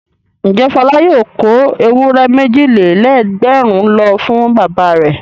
Ǹjẹ́ Fọlá yóò kó ewúrẹ́ méjì-lé-lẹ́gbẹ̀rún lọ fún bàbá rẹ̀?